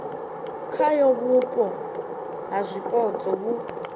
khayo vhupo ha zwipotso vhu